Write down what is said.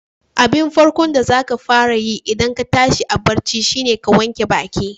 Abin farko da zaka fara yi idan ka tashi a bacci shine ka wanke baƙi.